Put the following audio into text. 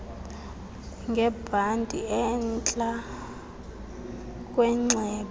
ngebhanti entla kwenxeba